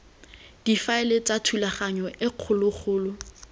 difaele tsa thulaganyo e kgologolo